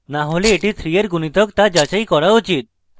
না হলে এটি 3 এর গুনিতক তা যাচাই করা উচিত